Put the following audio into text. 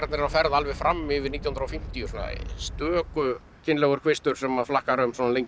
eru á ferð alveg fram yfir nítján hundruð og fimmtíu svona stöku kynlegur kvistur sem flakkar um svona lengi